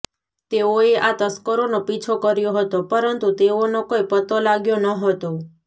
તેઓએ આ તસ્કરોનો પિછો કર્યો હતો પરંતુ તેઓનો કોઈ પતો લાગ્યો ન હતો